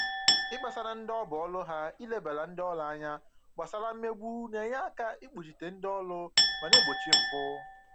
Ikpesara ndị ọ bụ ọrụ ha ilebara ndị ọrụ anya gbasara mmegbu na-enye aka ikpuchite ndị ọrụ ma na-egbochi mpụ